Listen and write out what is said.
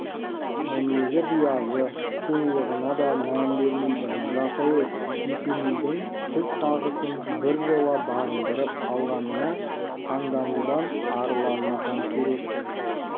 мінезі биязы сұлулығына да мән бермейтін жас әйел есенейдей түз тағысын біржола бағындырып алғанына таңданудан арыла алмасам керек сіз